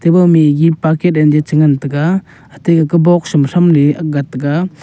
ema maggie paket anye che ngan taega hathai haka box mai tstram agat ta ga.